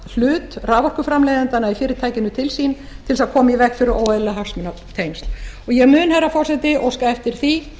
hlut raforkuframleiðendanna í fyrirtækinu til sín á að koma í veg fyrir óeðlileg hagsmunatengsl og ég mun herra forseti óska eftir því